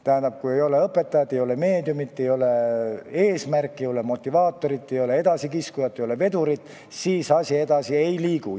Tähendab, kui ei ole õpetajat, ei ole meediumit, ei ole eesmärki, ei ole motivaatorit, ei ole edasikiskujat, ei ole vedurit, siis asi edasi ei liigu.